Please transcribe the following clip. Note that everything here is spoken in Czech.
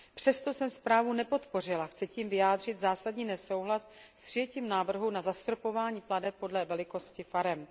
Přesto jsem zprávu nepodpořila, chci tím vyjádřit zásadní nesouhlas s přijetím návrhu na zastropování plateb podle velikosti farem.